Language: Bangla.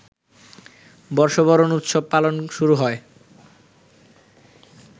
বর্ষবরণ উৎসব পালন শুরু হয়